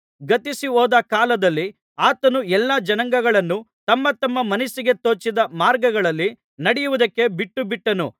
ಗತಿಸಿಹೋದ ಕಾಲದಲ್ಲಿ ಆತನು ಎಲ್ಲಾ ಜನಾಂಗಗಳನ್ನು ತಮ್ಮ ತಮ್ಮ ಮನಸ್ಸಿಗೆ ತೋಚಿದ ಮಾರ್ಗಗಳಲ್ಲಿ ನಡೆಯುವುದಕ್ಕೆ ಬಿಟ್ಟು ಬಿಟ್ಟನು